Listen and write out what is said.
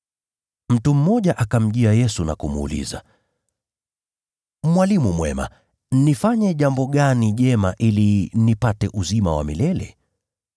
Mtu mmoja akamjia Yesu na kumuuliza, “Mwalimu mwema, nifanye jambo gani jema ili nipate uzima wa milele?”